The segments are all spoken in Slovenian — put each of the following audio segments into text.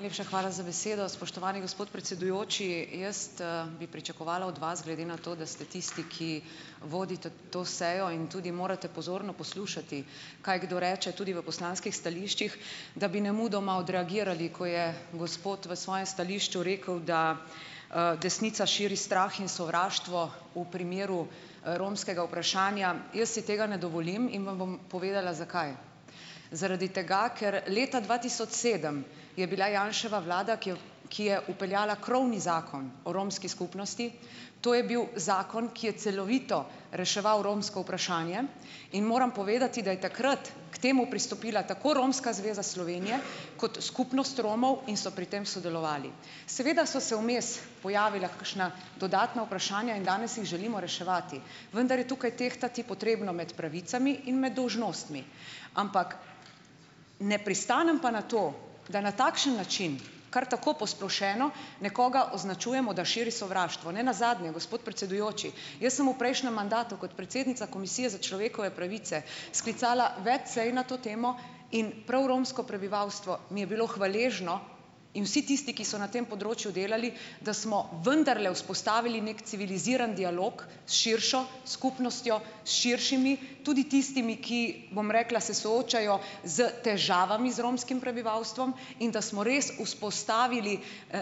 Najlepša hvala za besedo, spoštovani gospod predsedujoči. Jaz, bi pričakovala od vas, glede na to, da ste tisti, ki vodite to sejo in tudi morate pozorno poslušati, kaj kdo reče tudi v poslanskih stališčih, da bi nemudoma odreagirali, ko je gospod v svojem stališču rekel, da, desnica širi strah in sovraštvo v primeru romskega vprašanja. Jaz si tega ne dovolim in vam bom povedala, zakaj. Zaradi tega, ker leta dva tisoč sedem je bila Janševa vlada, ki je ki je vpeljala krovni Zakon o romski skupnosti, to je bil zakon, ki je celovito reševal romsko vprašanje, in moram povedati, da je takrat k temu pristopila tako Romska zveza Slovenije kot skupnost Romov in so pri tem sodelovali. Seveda so se vmes pojavila kakšna dodatna vprašanja in danes jih želimo reševati, vendar je tukaj tehtati potrebno med pravicami in med dolžnostmi, ampak ne pristanem pa na to, da na takšen način kar tako posplošeno nekoga označujemo, da širi sovraštvo. Ne nazadnje, gospod predsedujoči, jaz sem v prejšnjem mandatu kot predsednica Komisije za človekove pravice sklicala več sej na to temo in prav romsko prebivalstvo mi je bilo hvaležno in vsi tisti, ki so na tem področju delali, da smo vendarle vzpostavili neki civiliziran dialog s širšo skupnostjo, s širšimi, tudi tistimi, ki, bom rekla, se soočajo s težavami z romskim prebivalstvom, in da smo res vzpostavili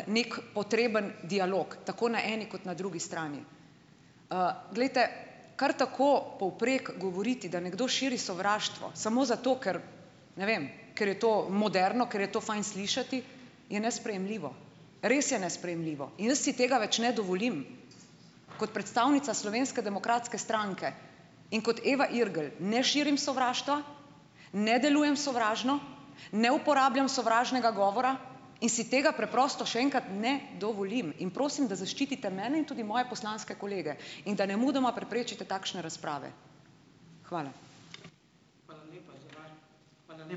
neki potreben dialog tako na eni kot na drugi strani. Glejte, kar tako povprek govoriti, da nekdo širi sovraštvo samo zato, ker ne vem, ker je to moderno, ker je to fajn slišati, je nesprejemljivo. Res je nesprejemljivo. Jaz si tega več ne dovolim, kot predstavnica Slovenske demokratske stranke in kot Eva Irgl, ne širim sovraštva, ne delujem sovražno, ne uporabljam sovražnega govora in si tega preprosto še enkrat ne dovolim in prosim, da zaščitite mene in tudi moje poslanske kolege, in da nemudoma preprečite takšne razprave. Hvala.